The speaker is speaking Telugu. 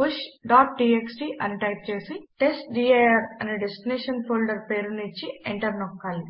pushటీఎక్స్టీ అని టైప్ చేసి టెస్ట్డిర్ అని డెస్టినేషన్ ఫోల్డర్ పేరును ఇచ్చి ఎంటర్ నొక్కాలి